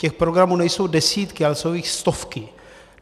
Těch programů nejsou desítky, ale jsou jich stovky.